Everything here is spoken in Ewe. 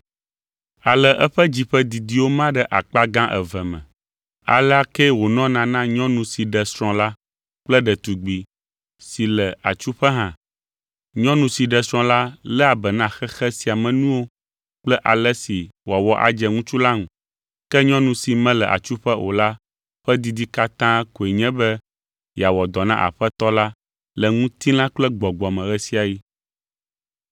Ale eƒe dzi ƒe didiwo ma ɖe akpa gã eve me. Alea ke wònɔna na nyɔnu si ɖe srɔ̃ la kple ɖetugbi si le atsuƒe hã. Nyɔnu si ɖe srɔ̃ la léa be na xexe sia me nuwo kple ale si wòawɔ adze ŋutsu la ŋu. Ke nyɔnu si mele atsuƒe o la ƒe didi katã koe nye be yeawɔ dɔ na Aƒetɔ la le ŋutilã kple gbɔgbɔ me ɣe sia ɣi.